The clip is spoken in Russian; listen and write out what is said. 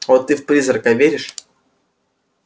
вот ты в призрака веришь